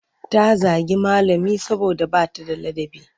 Ta zagi malami saboda ba ta da ladabi.